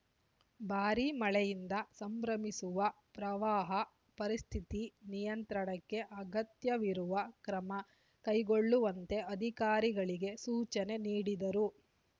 ಭಾರೀ ಮಳೆಯಿಂದ ಸಂಭ್ರವಿಸುವ ಪ್ರವಾಹ ಪರಿಸ್ಥಿತಿ ನಿಯಂತ್ರಣಕ್ಕೆ ಅಗತ್ಯವಿರುವ ಕ್ರಮ ಕೈಗೊಳ್ಳುವಂತೆ ಅಧಿಕಾರಿಗಳಿಗೆ ಸೂಚನೆ ನೀಡಿದರು